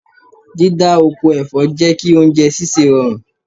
Dídá oko ẹ̀fọ́ jẹ́ kí oúnjẹ sísè rọrùn.